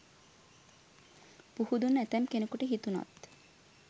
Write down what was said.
පුහුදුන් ඇතැම් කෙනෙකුට හිතුනත්